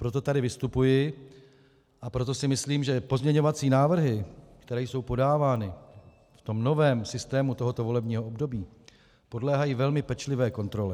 Proto tady vystupuji a proto si myslím, že pozměňovací návrhy, které jsou podávány v tom novém systému tohoto volebního období, podléhají velmi pečlivé kontrole.